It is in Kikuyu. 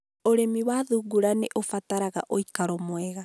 ũrĩmi wa thungura nĩ ũbataraga ũikaro mwega.